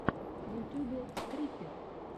в ютюбе скрипер